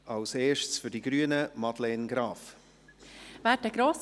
Zuerst für die Grünen, Madeleine Graf-Rudolf.